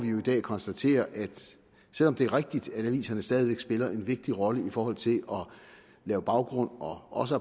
konstatere at selv om det er rigtigt at aviserne stadig væk spiller en vigtig rolle i forhold til at lave baggrund og også